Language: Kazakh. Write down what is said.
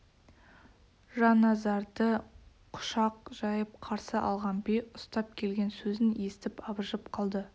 жанназарды құшақ жайып қарсы алған би ұстап келген сөзін естіп абыржып қалды